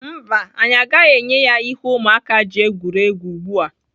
Mba, anyị agaghị enye ya ihe ụmụaka ji egwuri egwu ugbu a.